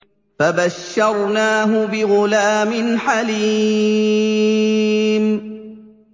فَبَشَّرْنَاهُ بِغُلَامٍ حَلِيمٍ